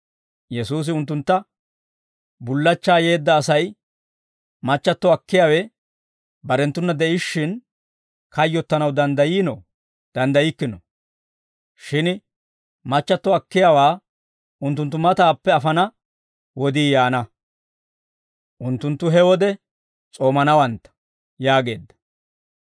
Yesuusi unttuntta, «Bullachchaa yeedda Asay machchatto akkiyaawe barenttuna de'ishshin, kayyottanaw danddayiinoo? Danddayikkino; shin machchatto akkiyaawaa unttunttu matappe afana wodii yaana; unttunttu he wode s'oomanawantta» yaageedda.